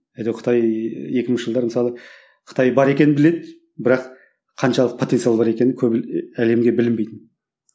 әйтеу қытай екі мыңыншы жылдары мысалы қытай бар екен біледі бірақ қаншалық потенциал бар екенін көбі әлемге білінбейтін